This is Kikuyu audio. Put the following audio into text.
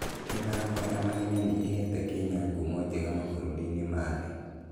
mĩthako ya mahenya nĩ ĩheete Kenya ngumo njega mabũrũri-inĩ ma thĩ.